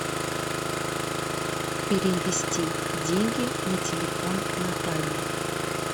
перевести деньги на телефон натальи